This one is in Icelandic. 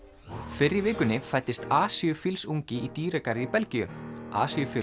fyrr í vikunni fæddist asíufílsungi í dýragarði í Belgíu